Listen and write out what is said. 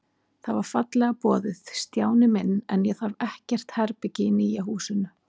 Það var fallega boðið, Stjáni minn, en ég þarf ekkert herbergi í nýja húsinu.